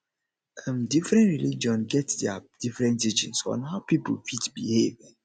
um different religion get their different teachings on how pipo fit behave um